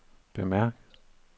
bemærk